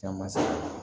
Caman